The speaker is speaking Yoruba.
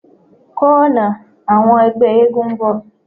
Ko ọna ti awọn ẹgbẹ eégún n bọ